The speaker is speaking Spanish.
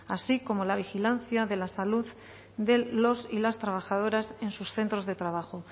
así como la vigilancia de la salud de los y las trabajadoras en sus centros de trabajo